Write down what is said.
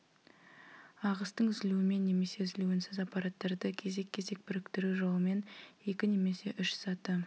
ағыстың үзілуімен немесе үзілуінсіз аппараттарды кезек-кезек біріктіру жолымен екі немесе үш саты